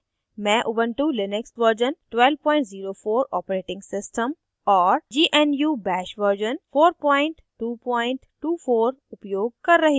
मैं ubuntu Linux version 1204 operating system और gnu bash version 4224 उपयोग कर रही हूँ